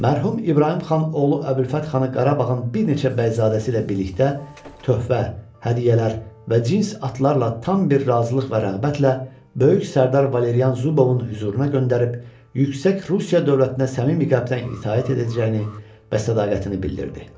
Mərhum İbrahim xan oğlu Əbülfət xanı Qarabağın bir neçə bəyzadəsi ilə birlikdə töhfə, hədiyyələr və cins atlarla tam bir razılıq və rəğbətlə böyük sərdar Valerian Zubovun hüzuruna göndərib yüksək Rusiya dövlətinə səmimi qəlbdən itaət edəcəyini və sədaqətini bildirdi.